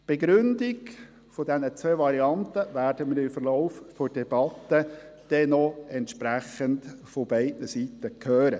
Die entsprechenden Begründungen dieser zwei Varianten werden wir noch im Verlauf der Debatte von beiden Seiten hören.